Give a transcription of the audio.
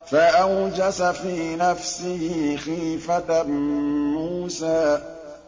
فَأَوْجَسَ فِي نَفْسِهِ خِيفَةً مُّوسَىٰ